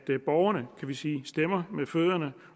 borgerne kan vi sige stemmer med fødderne